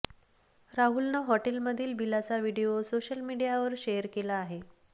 राहुलनं हॉटेलमधील बिलाचा video social मीडियावर शेअर केला आहे